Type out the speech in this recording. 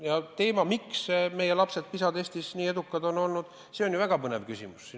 Aga teema, miks meie lapsed PISA testis nii edukad on olnud, on ju väga põnev.